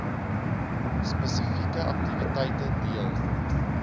spesifieke aktiwiteite deel